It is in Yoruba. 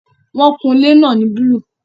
Wọn kun ilé náà ní búlúù